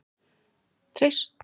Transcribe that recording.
Treystu ekki fólkinu í landinu